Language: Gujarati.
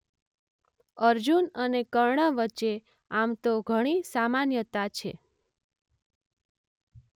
અર્જુન અને કર્ણ વચ્ચે આમ તો ઘણી સામાન્યતા છે.